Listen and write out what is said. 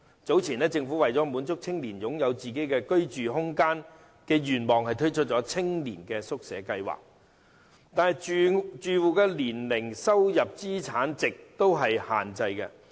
早前，政府為了滿足青年人擁有個人居住空間的願望而推出青年宿舍計劃，但住戶的年齡、收入、資產值都有限制。